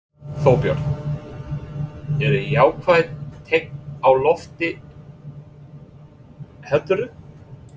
Þorbjörn: Eru jákvæð teikn á lofti heldurðu?